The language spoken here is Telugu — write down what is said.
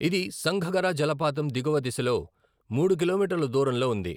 ఇది సంఘగరా జలపాతం దిగువ దిశ లో మూడు కిలోమీటర్ల దూరంలో ఉంది.